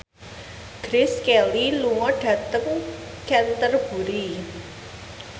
Grace Kelly lunga dhateng Canterbury